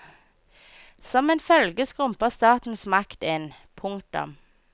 Som en følge skrumper statens makt inn. punktum